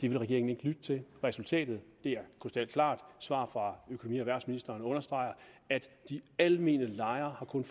ville regeringen ikke lytte til resultatet er krystalklart svaret fra økonomi og erhvervsministeren understreger at de almene lejere kun